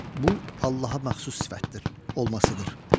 Bu Allaha məxsus sifətdir olmasıdır.